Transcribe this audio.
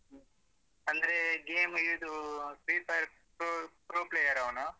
ಅಂದ್ರೇ game ಇದು free fire pro pro player ಅವ್ನು.